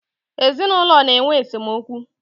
ezinụlọ na-enwe esemokwu.